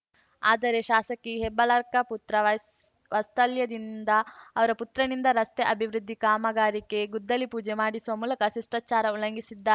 ಆದರೆ ಶಾಸಕಿ ಹೆಬ್ಬಾಳಕರ್‌ ಪುತ್ರ ವಾಸ್ತಲ್ಯದಿಂದ ಅವರ ಪುತ್ರನಿಂದ ರಸ್ತೆ ಅಭಿವೃದ್ಧಿ ಕಾಮಗಾರಿಗೆ ಗುದ್ದಲಿ ಪೂಜೆ ಮಾಡಿಸುವ ಮೂಲಕ ಶಿಷ್ಟಾಚಾರ ಉಲ್ಲಂಘಿಸಿದ್ದಾ